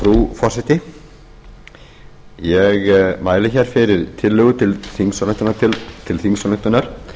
frú forseti ég ári hér fyrir tillögu til þingsályktunar